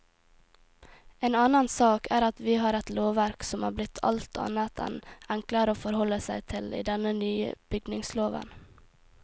En annen sak er at vi har et lovverk som er blitt alt annet enn enklere å forholde seg til i den nye bygningsloven.